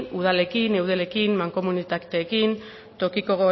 udalekin eudelekin mankomunitateekin tokiko